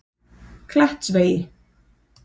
Klettsvegi